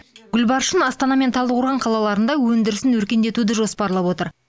гүлбаршын астана мен талдықорған қалаларында өндірісін өркендетуді жоспарлап отыр